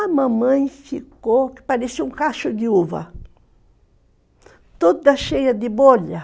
A mamãe ficou que parecia um cacho de uva, toda cheia de bolha.